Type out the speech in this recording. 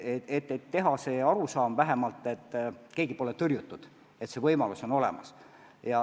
Peab tekkima vähemalt arusaam, et keegi pole tõrjutud, et see võimalus on olemas.